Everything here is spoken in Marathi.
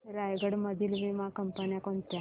रायगड मधील वीमा कंपन्या कोणत्या